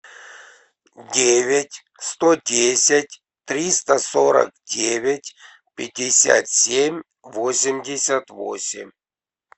девять сто десять триста сорок девять пятьдесят семь восемьдесят восемь